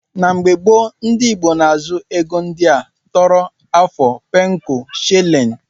Na mgbe gbo ndi igbo na azu ego ndia; tọrọ, afu, pencu, shillin.